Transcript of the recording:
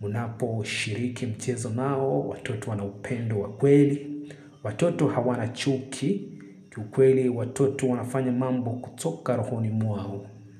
Mnaposhiriki mchezo nao, watoto wana upendo wa kweli. Watoto hawana chuki. Kiukweli watoto wanafanya mambo kutoka rohoni mwao.